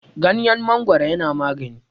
ganyen mangoro yana magani